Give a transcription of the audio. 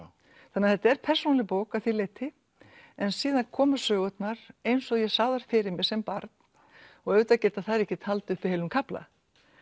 þannig að þetta er persónuleg bók að því leyti en síðan koma sögurnar eins og ég sá þær fyrir mér sem barn og auðvitað geta þær ekkert haldið uppi heilum kafla